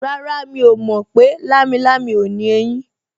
Rárá, mi ò mọ̀ pé lámilámi ò ní eyín